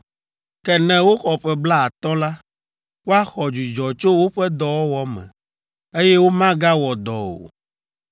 Ke ne woxɔ ƒe blaatɔ̃ la, woaxɔ dzudzɔ tso woƒe dɔwɔwɔ me, eye womagawɔ dɔ o.